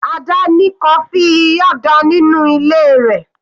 Ada ní coffee Nyada nínú ilé rẹ̀.